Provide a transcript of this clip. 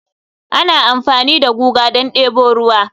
ana amfani da guga don debo ruwa